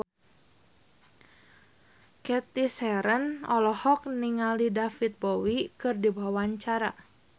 Cathy Sharon olohok ningali David Bowie keur diwawancara